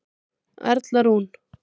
Erla Rún.